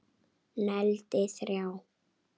Negldi þrjá!!!